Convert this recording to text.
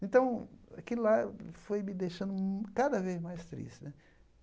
Então, aquilo lá foi me deixando hum cada vez mais triste né.